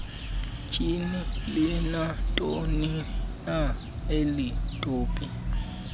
tyhini linantonina elitopi